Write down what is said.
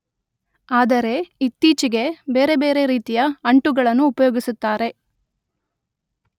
ಆದರೆ ಇತ್ತೀಚೆಗೆ ಬೇರೆ ಬೇರೆ ರೀತಿಯ ಅಂಟುಗಳನ್ನು ಉಪಯೋಗಿಸುತ್ತಾರೆ